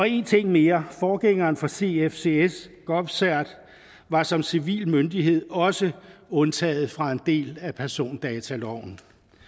en ting mere forgængeren for cfcs govcert var som civil myndighed også undtaget fra en del af persondataloven